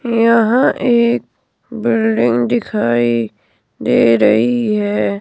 यहां एक बिल्डिंग दिखाई दे रही है।